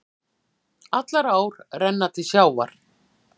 Allar ár renna til sjávar.